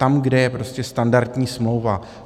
Tam, kde je prostě standardní smlouva.